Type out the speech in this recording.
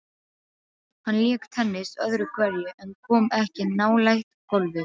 Hann lék tennis öðru hverju en kom ekki nálægt golfi.